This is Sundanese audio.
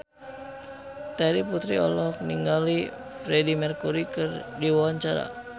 Terry Putri olohok ningali Freedie Mercury keur diwawancara